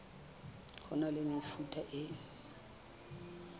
ho na le mefuta e